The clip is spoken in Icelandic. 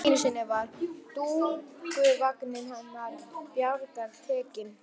Einu sinni var dúkkuvagninn hennar Bjargar tekinn.